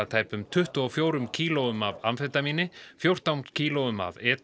tæpum tuttugu og fjórum kílóum af amfetamíni fjórtán kílóum af e